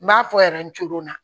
N b'a fɔ na